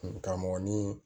N ka mɔɔ ni